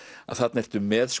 að þarna ertu með